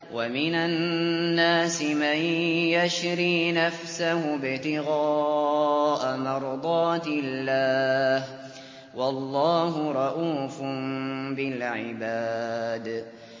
وَمِنَ النَّاسِ مَن يَشْرِي نَفْسَهُ ابْتِغَاءَ مَرْضَاتِ اللَّهِ ۗ وَاللَّهُ رَءُوفٌ بِالْعِبَادِ